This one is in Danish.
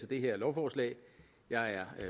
det her lovforslag jeg er